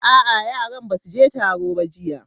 A'a, yaran ba su je taro ba jiya.